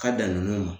Ka dan nunnu ma